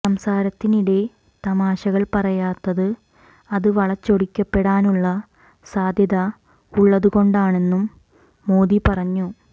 സംസാരത്തിനിടെ തമാശകൾ പറയാത്തത് അത് വളച്ചൊടിക്കപ്പെടാനുള്ള സാധ്യത ഉള്ളതുകൊണ്ടാണെന്നും മോദി പറഞ്ഞു